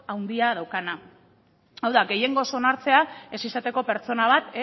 handia daukana hau da gehiengoz onartzea ez izateko pertsona bat